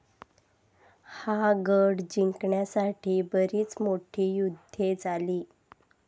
हा गड जिंकण्यासाठी बरीच मोठी युद्धे झाली.